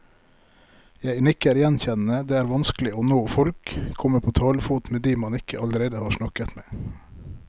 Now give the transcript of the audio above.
Jeg nikker gjenkjennende, det er vanskelig å nå folk, komme på talefot med de man ikke allerede har snakket med.